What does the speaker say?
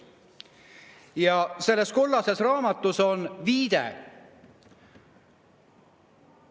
Ja selles kollases raamatus on viide.